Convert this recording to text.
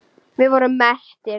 Við vorum mettir.